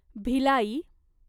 Bhilai